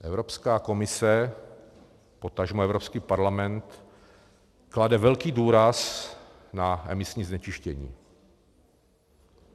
Evropská komise, potažmo Evropský parlament klade velký důraz na emisní znečištění.